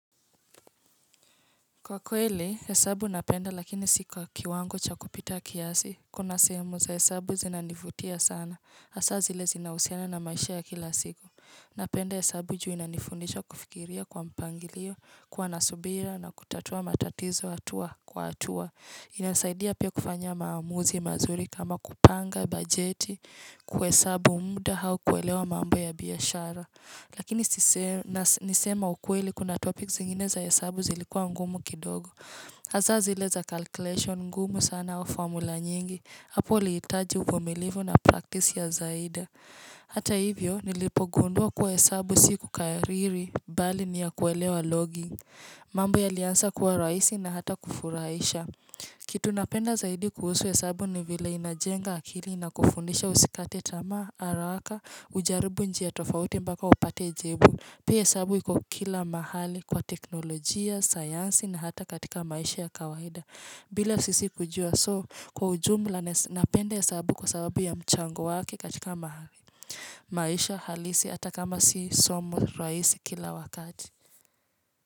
Kwa kweli, hesabu napenda lakini si kwa kiwango cha kupita kiasi, kuna sehemu za hesabu zinanivutia sana, hasa zile zinahusiana na maisha ya kila siku. Napenda hesabu juu inanifundisha kufikiria kwa mpangilio, kuwa na subira na kutatua matatizo hatua kwa hatua. Inasaidia pia kufanya maamuzi mazuri kama kupanga bajeti kwa hesabu muda au kuelewa mambo ya biashara. Lakini niseme ukweli kuna topics zingine za hesabu zilikuwa ngumu kidogo. Hasa zile za calculation ngumu sana wa formula nyingi. Hapo liitaji uvumilivu na practice ya zaida. Hata hivyo, nilipogundua kuwa hesabu siku kariri, bali ni ya kuelewa logging. Mambo yalianza kuwa rahisi na hata kufurahisha. Kitu napenda zaidi kuhusu hesabu ni vile inajenga akili na kufundisha usikate tamaa, haraka ujaribu njia tofauti mpaka upate jibu pia hesabu iko kila mahali kwa teknolojia, sayansi na hata katika maisha ya kawaida bila sisi kujua so kwa ujumla napenda hesabu kwa sababu ya mchango wake katika mahali maisha halisi hata kama si somo rahisi kila wakati.